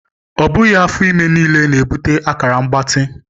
Ọ bụghị afọ ime niile na-ebute akara mgbatị.